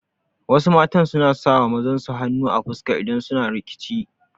Wasu mata suna sawa mazan su hanu a fuska idan suna rikici